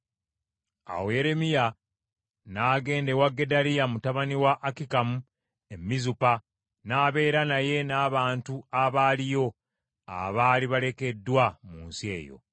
Awo Yeremiya n’agenda ewa Gedaliya mutabani wa Akikamu e Mizupa n’abeera naye n’abantu abaaliyo abaali balekeddwa mu nsi eyo.